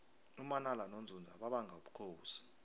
umanala nonzunza babanga ubukhosi